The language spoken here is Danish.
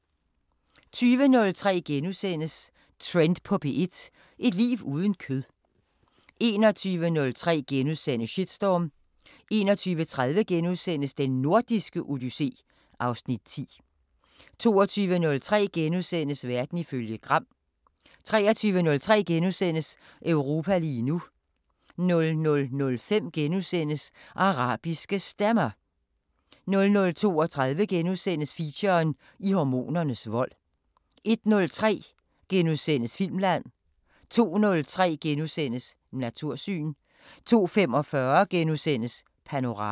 20:03: Trend på P1: Et liv uden kød * 21:03: Shitstorm * 21:30: Den Nordiske Odyssé (Afs. 10)* 22:03: Verden ifølge Gram * 23:03: Europa lige nu * 00:05: Arabiske Stemmer * 00:32: Feature: I hormonernes vold * 01:03: Filmland * 02:03: Natursyn * 02:45: Panorama *